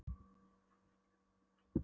Síðan var mér fylgt í fangageymslurnar í